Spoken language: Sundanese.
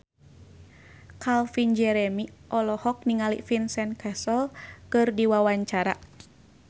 Calvin Jeremy olohok ningali Vincent Cassel keur diwawancara